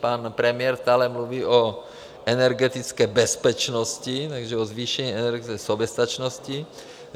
- Pan premiér stále mluví o energetické bezpečnosti, takže o zvýšení energetické soběstačnosti.